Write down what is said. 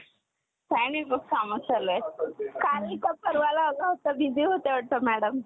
करण्यासाठी पहिल्यांदा Offer करते. हे एक असे माध्यम आहे की ज्याच्या मदतीने औद्योगिक क्षेत्रातील संस्था किंवा कंपन्या